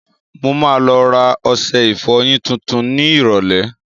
Mo ma lọ rà ọṣẹ ìfọyín tuntun ni ìrọ̀lẹ́.